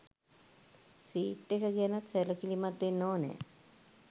Seat එක ගැනත් සැලකිලිමත් වෙන්න ඕනෙ.